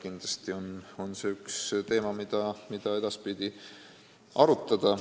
Kindlasti on see üks teemasid, mida edaspidi võiks arutada.